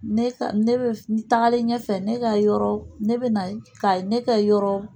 Ne ka ne bɛ tagalen ɲɛfɛ ne ka yɔrɔ ne bɛ na ka ne ka yɔrɔ